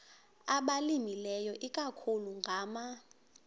abalimileyo ikakhulu ngama